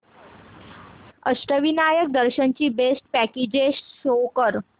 अष्टविनायक दर्शन ची best packages show कर